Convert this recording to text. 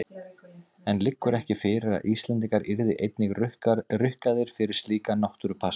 En liggur ekki fyrir að Íslendingar yrðu einnig rukkaðir fyrir slíka náttúrupassa?